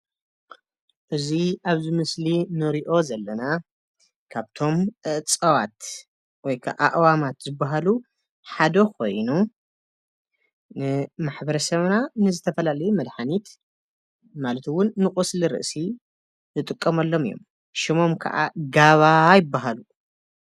እዚ ኣብዚ ምስሊ ንሪኦ ዘለና ካብቶም እፅዋት ወይ ክዓ ኣእዋማት ዝበሃሉ ሓደ ኮይኑ ንማሕበረሰብ ንዝተፈላለዩ መድሓኒት ማለት እውን ንቆስሊ ርእሲ ንጥቀመሎም ሽሞም ከዓ ጋባ ይበሃሉ።